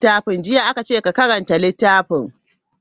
Jiya aka ce ka karanta littafin.